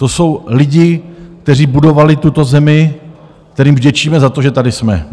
To jsou lidi, kteří budovali tuto zemi, kterým vděčíme za to, že tady jsme.